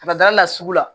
Ka da la sugu la